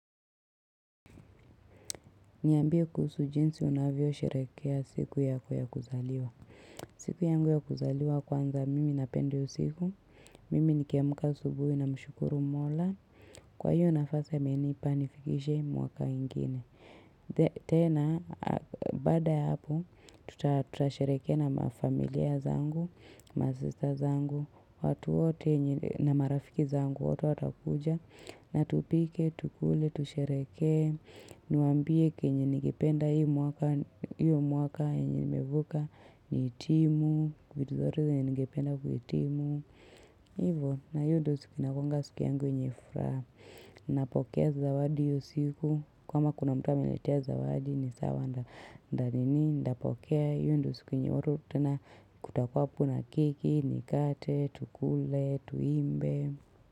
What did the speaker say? Niambie kuhusu jinsi unavyo sheherekea siku yako ya kuzaliwa. Siku yangu ya kuzaliwa kwanza mimi napenda hio siku. Mimi nikiamka asubuhi namshukuru mola. Kwa hiyo nafasi amenipa nifikishe mwaka ingine. Tena, bada ya hapo, tuta tutasheherekea na mafamilia zangu, masista zangu, watu wote yenye na marafiki zangu, watu watakuja. Na tupike, tukule, tusheherekee Niwaambie kenye ningependa hii mwaka hiyo mwaka yenye nimevuka nihitimu, vitu zote zenye ningependa kuhitimu Hivo, na hiyo ndo siku inakuwanga siku yangu yenye furaha Napokea zawadi hiyo siku kama kuna mtu ameniletea zawadi ni sawa nita nini nitapokea hiyo ndo siku yenye watu tena kutakuwa hapo keki, nikate, tukule, tuimbe.